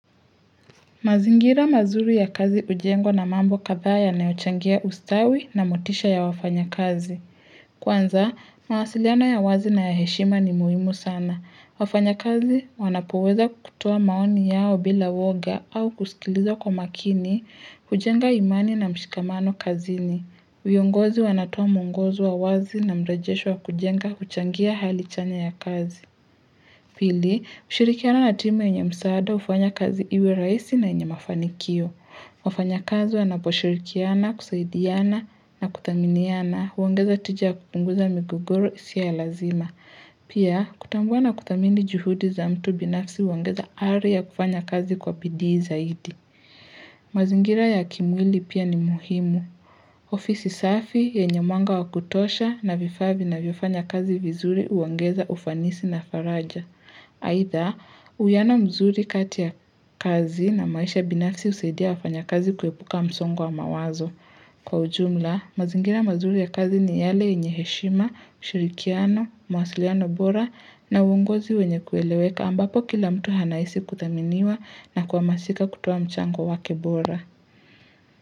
Mazingira mazuri ya kazi hujengwa na mambo kadhaa yanayochangia ustawi na motisha ya wafanyakazi. Kwanza, mawasiliano ya wazi na ya heshima ni muhimu sana. Wafanyakazi wanapoweza kutoa maoni yao bila woga au kusikiliza kwa makini, hujenga imani na mshikamano kazini. Viongozi wanatoa mwongozo wa wazi na mrejesho wa kujenga huchangia hali chanya ya kazi. Pili, kushirikiana na timu yenye msaada hufanya kazi iwe rahisi na yenye mafanikio. Wafanyakazi wanaposhirikiana, kusaidiana na kuthaminiana huongeza tija ya kupunguza migogoro isiyo ya lazima. Pia, kutambua na kuthamini juhudi za mtu binafsi huongeza ari ya kufanya kazi kwa bidii zaidi. Mazingira ya kimwili pia ni muhimu. Ofisi safi yenye mwanga wa kutosha na vifaa vinavyofanya kazi vizuri huongeza ufanisi na faraja. Aidha, uwiano mzuri kati ya kazi na maisha binafsi husaidia wafanyakazi kuepuka msongo wa mawazo Kwa ujumla, mazingira mazuri ya kazi ni yale yenye heshima, ushirikiano, mwasiliano bora na uongozi wenye kueleweka ambapo kila mtu anahisi kuthaminiwa na kuhamasika kutoa mchango wake bora.